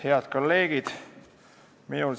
Head kolleegid!